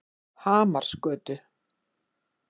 Hamarsgötu